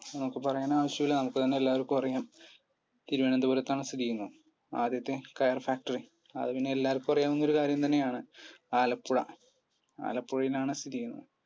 പറയാനാവശ്യം ഇല്ല നമുക്കുതന്നെ എല്ലാവർക്കും അറിയാം തിരുവന്തപുരത്താണ് സ്ഥിതി ചെയ്യുന്നത് ആദ്യത്തെ coir factory അത് പിന്നെ എല്ലാവർക്കും അറിയാവുന്നൊരു കാര്യം തന്നെയാണ്ആലപ്പുഴ ആലപ്പുഴയിലാണ് സ്ഥിതി ചെയ്യുന്നത്